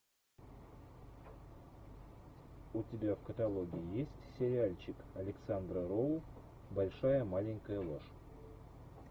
у тебя в каталоге есть сериальчик александра роу большая маленькая ложь